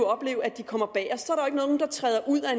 tre